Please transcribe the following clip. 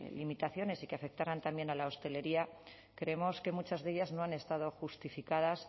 limitaciones y que afectaran también a la hostelería creemos que muchas de ellas no han estado justificadas